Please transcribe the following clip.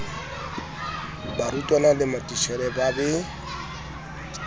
barutwana le matitjhere ba be